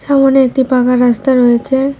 সামোনে একটি পাকা রাস্তা রয়েছে।